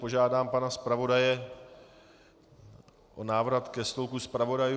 Požádám pana zpravodaje o návrat ke stolku zpravodajů.